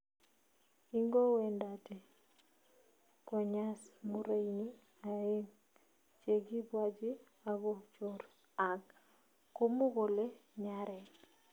ingowendate konyas murenig aengu chegibwanji ako chorr ag komu kole nyareen